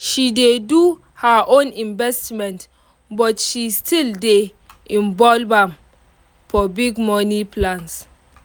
she dey do her own investment but she still dey involve am for big money plans